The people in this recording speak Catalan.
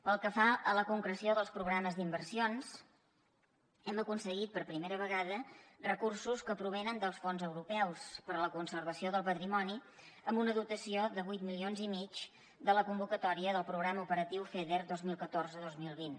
pel que fa a la concreció dels programes d’inversions hem aconseguit per primera vegada recursos que provenen dels fons europeus per a la conservació del patrimoni amb una dotació de vuit milions i mig de la convocatòria del programa operatiu feder dos mil catorze dos mil vint